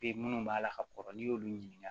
Be minnu b'a la ka kɔrɔ n'i y'olu ɲininka